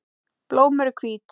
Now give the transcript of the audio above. Blóm eru hvít.